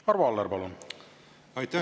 Arvo Aller, palun!